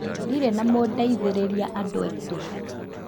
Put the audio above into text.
Ndirĩ na mũndeithĩrĩria andũ aitũ